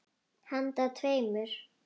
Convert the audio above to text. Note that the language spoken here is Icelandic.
Handa tveimur